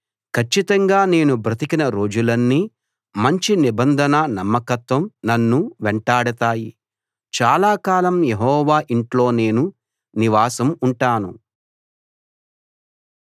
కచ్చితంగా నేను బ్రతికిన రోజులన్నీ మంచి నిబంధన నమ్మకత్వం నన్ను వెంటాడతాయి చాలా కాలం యెహోవా ఇంట్లో నేను నివాసం ఉంటాను